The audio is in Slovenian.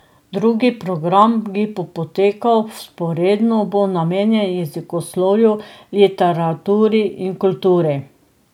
Drugi program, ki bo potekal vzporedno, bo namenjen jezikoslovju, literaturi in kulturi.